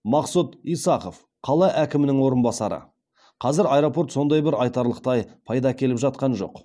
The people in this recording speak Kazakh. мақсұт исахов қала әкімінің орынбасары қазір аэропорт сондай бір айтарлықтай пайда әкеліп жатқан жоқ